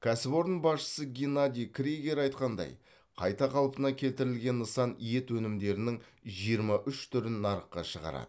кәсіпорын басшысы геннадий кригер айтқандай қайта қалпына келтірілген нысан ет өнімдерінің жиырма үш түрін нарыққа шығарады